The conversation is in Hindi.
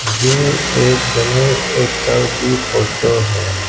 ये एक गणेश उत्सव की फोटो है।